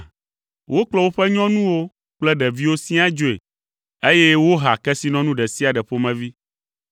Wokplɔ woƒe nyɔnuwo kple ɖeviwo siaa dzoe, eye woha kesinɔnu ɖe sia ɖe ƒomevi.